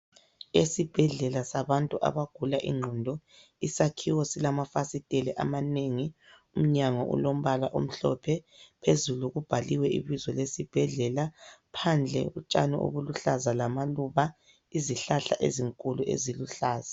Esibhedlela sabantu abagula ingqondo, isakhiwo silamafasiteli amanengi umnyango ulombala omhlophe, phezulu kubhaliwe ibizo lesibhedlela, phandle utshani obuluhlaza lamaluba, izihlahla ezinkulu eziluhlaza.